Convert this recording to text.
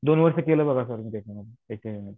दोन वर्ष केलं बघा मी त्याच्यामध्ये